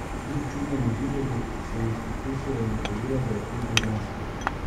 Kljub čudnemu videzu sem jih pokusila in ugotovila, da je okus božanski.